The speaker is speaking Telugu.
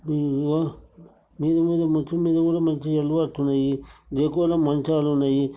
హ్మ్ మీద మీద డెకోలా మంచాలున్నయి.